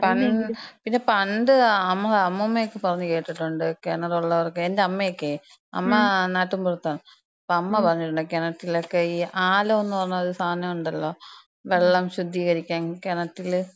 ആ പണ്ട്, പിന്നെ പണ്ട് അമ്മു, അമ്മൂമ്മയൊക്കെ പറഞ്ഞ് കേട്ടിട്ടുണ്ട് കെണറുള്ളവർക്ക് എന്‍റെ അമ്മെക്കെ അമ്മ നാട്ടിൻപുറത്താണ്. അപ്പം അമ്മ പറഞ്ഞു കേട്ടിട്ടുണ്ട്, ഈ കെണറ്റിലൊക്കെ ആലോംന്ന് പറയണ ഒരു സാനണ്ടല്ലോ? വെള്ളം ശുദ്ധീകരിക്കാൻ കെണറ്റില്,